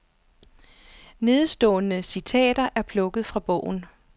Nedenstående citater er plukket fra bogen.